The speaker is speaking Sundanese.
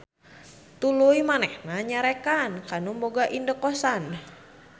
Tuluy manehna nyarekan ka nu boga indekosan.